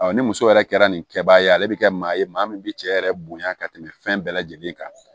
ni muso yɛrɛ kɛra nin kɛbaga ye ale bɛ kɛ maa ye maa min bɛ cɛ yɛrɛ bonya ka tɛmɛ fɛn bɛɛ lajɛlen kan